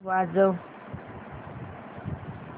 वाजव